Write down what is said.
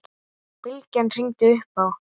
Bylgja hringdi upp á